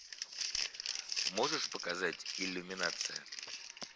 можешь показать иллюминация